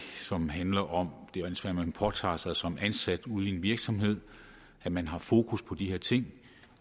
som handler om det ansvar man påtager sig som ansat ude i en virksomhed at man har fokus på de her ting